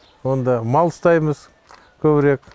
онда мал ұстаймыз көбірек